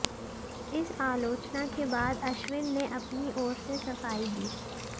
इस आलोचना के बाद अश्विन ने अपनी ओर से सफाई दी